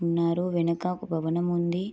ఉన్నారు వెనక ఒక భవనం ఉంది.